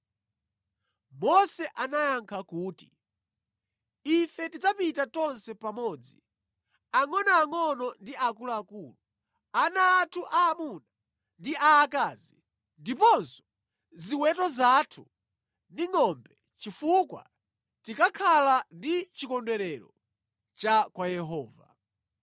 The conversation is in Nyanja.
Mose anayankha kuti, “Ife tidzapita tonse pamodzi; angʼonoangʼono ndi akuluakulu, ana athu aamuna ndi aakazi, ndiponso ziweto zathu ndi ngʼombe chifukwa tikakhala ndi chikondwerero cha kwa Yehova.”